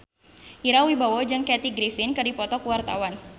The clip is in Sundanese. Ira Wibowo jeung Kathy Griffin keur dipoto ku wartawan